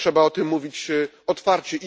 Trzeba o tym mówić otwarcie.